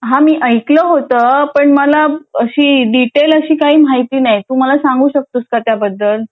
हा मी ऐकलं होतं पण मला अशी डिटेल अशी माहिती नाही तू मला सांगू शकतोस का त्याबद्दल